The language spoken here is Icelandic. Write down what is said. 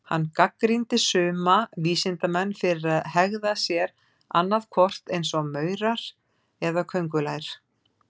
Hann gagnrýndi suma vísindamenn fyrir að hegða sér annað hvort eins og maurar eða köngulær.